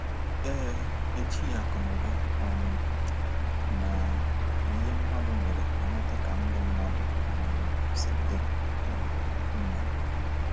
Ee, e jighị akụnụba um na na ihe mmadu nwere amata ka ndụ mmadu um si di um mma.